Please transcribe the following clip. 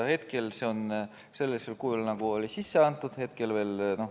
Hetkel on eelnõu sellisel kujul, nagu ta oli sisse antud.